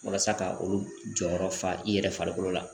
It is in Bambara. Walasa ka olu jɔyɔrɔ fa i yɛrɛ farikolo la